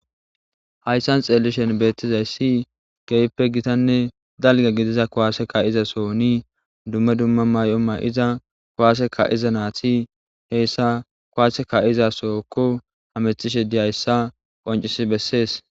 Hayssan xeellishen beettizayssi geyppe gitanne dalga gidiza kowaaseka iza soni dumme dumma may'o ma'iza kuwaaseka iza naati heyssa kuwaaseka izasokko hametishe diyayssa qoncisi bessees.